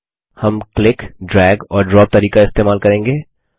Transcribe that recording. हम click drag और drop तरीका इस्तेमाल करेंगे